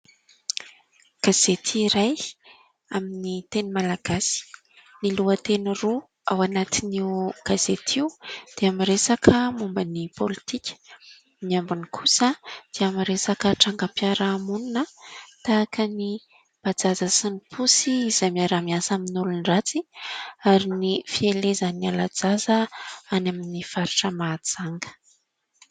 Gazety iray amin'ny teny malagasy ; ny lohateny roa ao anatin'io gazety io dia miresaka momba ny politika, ny ambiny kosa dia miresaka tranga-mpiara-monina tahaka ny "bajaj" sy ny posy izay miara-miasa amin'ny olon-dratsy ary ny fielezany ala-jaza any amin'ny faritra Mahajanga.